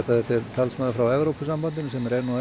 talsmaður frá Evrópusambandinu sem er er